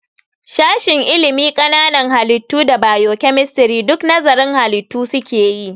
Sashen ilimin ƙananan halittu da bio-kemistri duk nazarın halitu su keyi